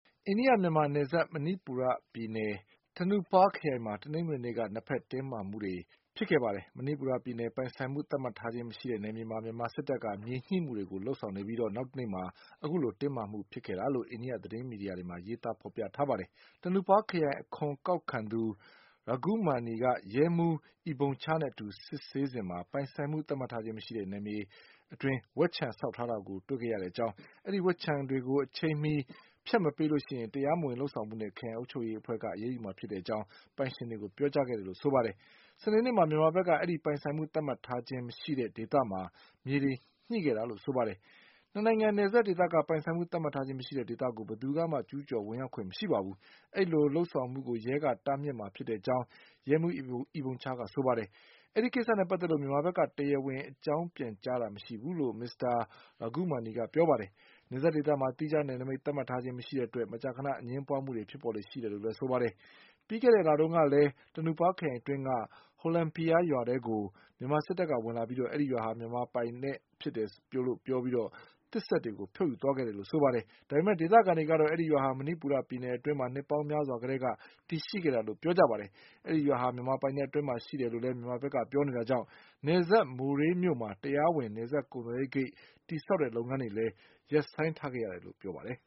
အိန္ဒိယ-မြန်မာနယ်စပ် မဏိပူရပြည်နယ် Tengnoupal ခရိုင်ဘက်မှာ တနင်္ဂနွေနေ့က နှစ်ဘက် တင်းမာမှုတွေ ဖြစ်ပေါ်နေပါတယ်။ မဏိပူရပြည်နယ်၊ ပိုင်ဆိုင်မှုသတ်မှတ်ထားခြင်းမရှိတဲ့ နယ်မြေမှာ မြန်မာစစ်တပ်က မြေညှိမှုတွေ လုပ်ဆောင်ပြီး နောက်တနေ့မှာ အခုလို တင်းမာမှုတွေ ဖြစ်ပေါ်ခဲ့တာလို့ အိန္ဒိယ သတင်းမီဒီယာတွေမှာ ရေးသား ဖော်ပြထားပါတယ်။ Tengnoupal ခရိုင် အခွန်ကောက်ခံသူ K Raghumani က ရဲမှူး S. Ibomcha နဲ့အတူ စစ်ဆေးစဉ် ပိုင်ဆိုင်မှု သတ်မှတ်ထားခြင်းမရှိတဲ့ နယ်စပ်ဒေသမှာ ဝက်ခြံဆောက်ထားတာကို တွေ့ခဲ့ရကြောင်း၊ အဲဒီ ဝက်ခြံတွေကို အချိန်မှ ဖျက်ဆီးမပေးရင် တရားမဝင် လုပ်ဆောင်မှုနဲ့ ခရိုင် အုပ်ချုပ်ရေးအဖွဲ့က အရေးယူမှာဖြစ်ကြောင်း ပိုင်ရှင်တွေကို ပြောကြားခဲ့တယ်လို့ ဆိုပါတယ်။ စနေနေ့မှာ မြန်မာဘက်က အဲဒီ ပိုင်ဆိုင်မှု သတ်မှတ်ထားခြင်းမရှိတဲ့ ဒေသမှာ မြေတွေ ညှိခဲ့တယ်လို့ ဆိုပါတယ်။ နှစ်နိုင်ငံနယ်စပ်ဒေသက ပိုင်ဆိုင်မှု သတ်မှတ်ထားခြင်းမရှိတဲ့ ဒေသကို ဘယ်သူမှ ကျူးကျော် ဝင်ရောက်ခွင့်မရှိကြောင်း၊ အဲဒီလို လုပ်ဆောင်မှုကို ရဲက တားမြစ်မှာဖြစ်ကြောင်း ရဲမှူး S. Ibomcha က ပြောပါတယ်။ ဒီကိစ္စနဲ့ပတ်သက်လို့ မြန်မာဘက်က တရားဝင် အကြောင်းပြန်ကြားတာ မရှိဘူးလို့ မစ္စတာ Raghumani က ပြောပါတယ်။ နယ်စပ်ဒေသမှာ သီးခြား နယ်နိမိတ် သတ်မှတ်ထားခြင်းမရှိတဲ့အတွက် မကြာခန အငြင်းပွားမှုတွေ ဖြစ်ပေါ်လေ့ရှိတယ်လို့ ဆိုပါတယ်။ ပြီးခဲ့တဲ့ လတုန်းကလည်း Tengnoupal ခရိုင် အတွင်းက Hollenphai ရွာထဲကို မြန်မာစစ်တပ် ဝင်လာပြီး အဲဒီရွာဟာ မြန်မာပိုင် ဖြစ်တယ်လို့ ပြောဆိုပြီး သစ်စက်တွေကို ဖြုတ်ယူသွားခဲ့တယ်လို့ ဆိုပါတယ်။ ဒါပေမယ့် ဒေသခံတွေကတော့ အဲဒီရွာဟာ မဏိပူရပြည်နယ်အတွင်းမှာ နှစ်ပေါင်းများစွာကတည်းက တည်ရှိခဲ့တာလို့ ဆိုပါတယ်။ အဲဒီရွာဟာ မြန်မာပိုင်နက်အတွင်းမှာရှိတယ်လို့ မြန်မာဘက်က ပြောနေတာကြောင့် နယ်စပ် မိုရေးမြို့မှာ တရားဝင် နယ်စပ်ကုန်သွယ်ရေးဂိတ် တည်ဆောက်တဲ့ လုပ်ငန်းတွေလည်း ရပ်ဆိုင်းထားရတယ်လို့ ဆိုပါတယ်